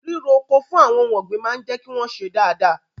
Ríro oko fún àwọn ohun ọ̀gbìn máa jẹ́ kí wọ́n ṣe dáadáa.